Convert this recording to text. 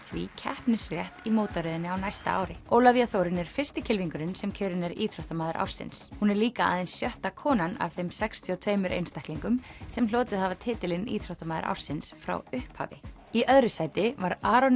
því keppnisrétt í mótaröðinni á næsta ári Ólafía Þórunn er fyrsti kylfingurinn sem kjörinn er íþróttamaður ársins hún er líka aðeins sjötta konan af þeim sextíu og tveimur einstaklingum sem hlotið hafa titilinn íþróttamaður ársins frá upphafi í öðru sæti var Aron